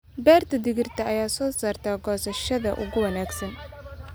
Beerta digirta ayaa soo saarta goosashada ugu wanaagsan.